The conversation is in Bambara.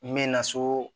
N bɛ na so